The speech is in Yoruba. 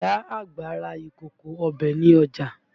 Ìyá àgbà ra ìkòkò ọbẹ̀ ní ọjà